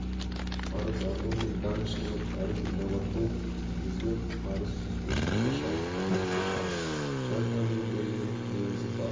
парыз арман мен даңқ шыңы парыз инабаттылық негізі парыз сүйіспеншілікке шабыттандырушы парыз жан-тәнімен берілгендік негізі парыз